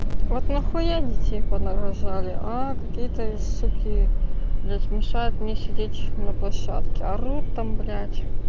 вот нахуя детей понарожали а какие-то суки блядь мешают мне сидеть на площадке орут там блядь